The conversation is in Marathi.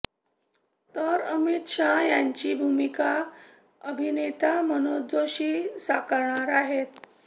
तर अमित शाह यांची भूमिका अभिनेता मनोज जोशी साकरणार आहेत